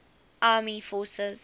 army air forces